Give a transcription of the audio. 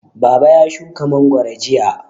Baba ya shuka mangwaro jiya.